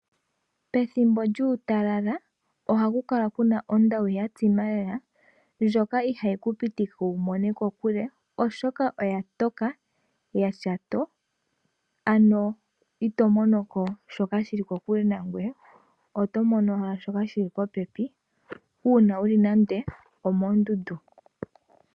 Pethimbo lyuutalala oha ku kala ku na ondawu ya tsima lela ndjoka iha yi kupitike wu mone kokule oshoka oya toka ya tya too ano ito monoko shoka shili kokule nangoye oto mono owala shoka dhili popepi uuna wu li nande omoondundu.